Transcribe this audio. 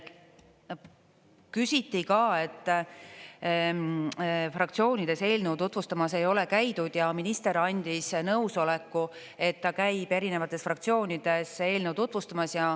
Küsiti ka, et fraktsioonides eelnõu tutvustamas ei ole käidud, ja minister andis nõusoleku, et ta käib erinevates fraktsioonides eelnõu tutvustamas.